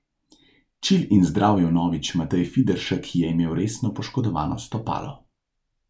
Čil in zdrav je vnovič Matej Fideršek, ki je imel resno poškodovano stopalo.